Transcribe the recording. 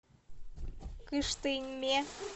кыштыме